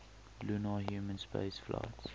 lunar human spaceflights